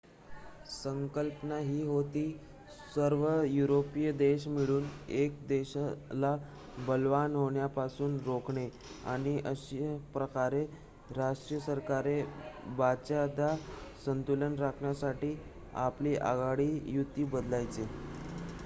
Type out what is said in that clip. संकल्पना ही होती सर्व युरोपीय देश मिळून 1 देशाला बलवान होण्यापासून रोखणे आणि अशा प्रकारे राष्ट्रीय सरकारे बऱ्याचदा संतुलन राखण्यासाठी आपली आघाडी / युती बदलायच्या